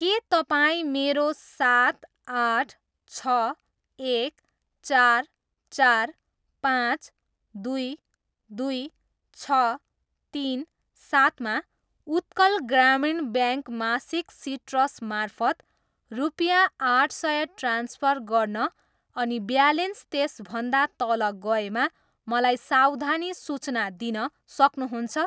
के तपाईँ मेरो सात, आठ, छ, एक, चार, चार, पाँच, दुई, दुई, छ, तिन, सातमा उत्कल ग्रामीण ब्याङ्क मासिक सिट्रस मार्फत रुपियाँ आठ सय ट्रान्सफर गर्न अनि ब्यालेन्स त्यसभन्दा तल गएमा मलाई सावधानी सूचना दिन सक्नुहुन्छ?